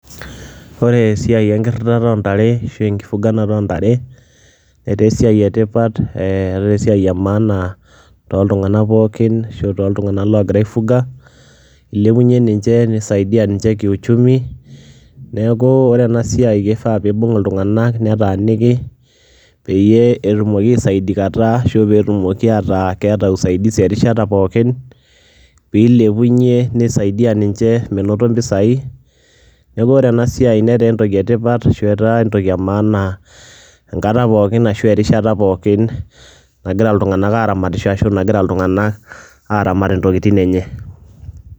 Ore esia enkirirata o ntare ashu enkifugata o ntare netaa esiai e tipat ee etaa esiai e maana tooltung'anak pookin ashu tooltung'anak ogira aifuga, ilepunye ninje, nisaidia ninje kiuchumi. Neeku ore ena siai kifaa piibung' iltung'anak netaaniki peyie etumoki aisaidikata ashu peetumoki ataa keeta usaidizi erishata pookin piilepunye, nisaidia ninje menoto mpisai. Neeku ore ena siai netaa entoki e tipat ashu etaa entoki e maana enkata pookin ashu erishata pookin nagira iltung'anak aaramatisho ashu nagira iltung'anak aaramat ntokitin enye.